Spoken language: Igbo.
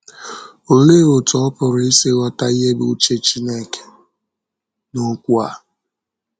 Olee otú ọ pụrụ isi ghọta ihe bụ́ uche Chineke n’okwu a?